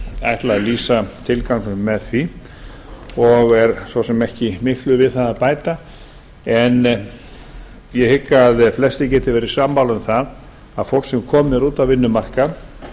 ætlað að lýsa tilganginum með því og svo sem ekki miklu við það að bæta ég hygg að flestir geti verið sammála um það að fólk sem komið er út á vinnumarkað